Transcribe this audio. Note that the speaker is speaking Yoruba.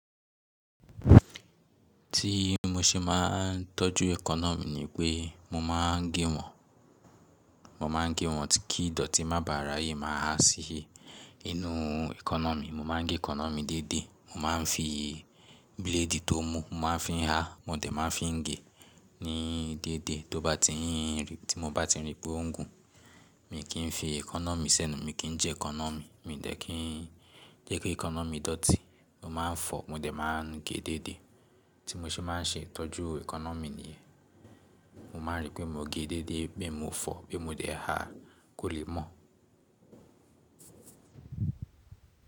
Ti mo ṣe máa ń tọ́jú eekanna ni pé mo máa ń gé wọn, mo máa ń gé wọn kí idoti má bà raye, máa ha sì inú eekanna mi. Mo máa ń gé eekanna mi dédé, mo máa ń fi blade tó mú, mo máa ń fi ha, mo dẹ̀ máa ń fi ń gé ní dédé to ba ti n. Tí mo bá ti n rí pé ó ń gùn, mi kì í fi eekanna sẹ́nu, mi kì n jẹ eekanna mi, mi dẹ̀ kí jẹ́ ki eekanna mi dọ̀tí. Mo máa ń fọ, mo dẹ̀ máa ń gé dédé. Tí mo ṣe máa ń ṣe ìtọ́jú economy nìyẹn. Mo máa ń rí pé mo gẹ́ dédé pe mo fọ, pe mo dé ha kò le mọ̀.